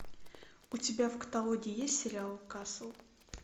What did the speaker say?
у тебя в каталоге есть сериал касл